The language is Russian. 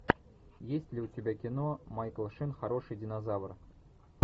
есть ли у тебя кино майкл шин хороший динозавр